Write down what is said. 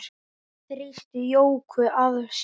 Hún þrýsti Jóku að sér.